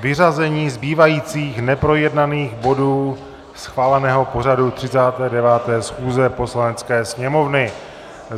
vyřazení zbývajících neprojednaných bodů schváleného pořadu 39. schůze Poslanecké sněmovny.